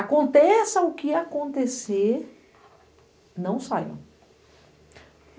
Aconteça o que acontecer, não saiam.